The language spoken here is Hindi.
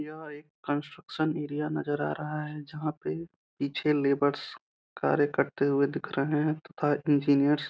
यह एक कंस्ट्रक्शन एरिया नजर आ रहा है जहाँ पे पीछे लेबर्स कार्य करते हुए दिख रहे हैं तथा इंजिनियर्स --